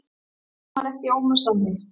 En hún var ekki ómissandi.